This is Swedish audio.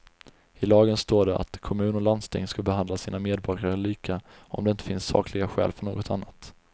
I lagen står det att kommun och landsting ska behandla sina medborgare lika, om det inte finns sakliga skäl för något annat.